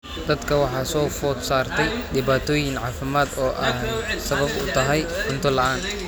Dadka waxaa soo food saartay dhibaatooyin caafimaad oo ay sabab u tahay cunto la'aan.